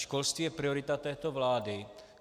Školství je priorita této vlády.